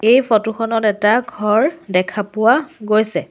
এই ফটো খনত এটা ঘৰ দেখা পোৱা গৈছে।